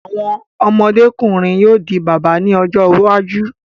Àwọn ọmọdé-kùnrin yóò di bàbá ní ọjọ́ iwájú.